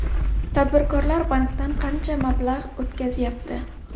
Tadbirkorlar bankdan qancha mablag‘ o‘tkazyapti?